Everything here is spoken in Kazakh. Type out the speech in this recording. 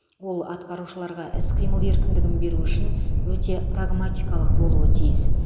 ол атқарушыларға іс қимыл еркіндігін беру үшін өте прагматикалық болуы тиіс